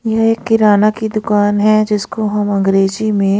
ये एक किराना की दुकान है जिसको हम अंग्रेजी में--